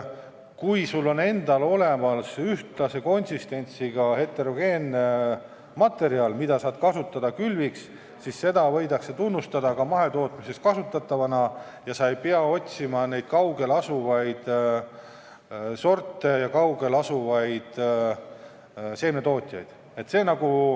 Kui sul on endal olemas ühtlase konsistentsiga heterogeenne materjal, mida sa saad kasutada külviks, siis võidakse seda tunnustada ka mahetootmises kasutatavana ja sa ei pea otsima mingeid kaugel asuvaid sordiaretajaid ja seemnetootjaid.